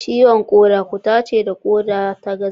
Ciwon koda cuta ce da koda ta gaza.